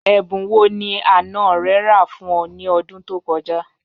Ẹ̀bùn wọ́ ni àná rẹ̀ rà fún ọ̀ ni ọ̀dún tó kọ̀ja?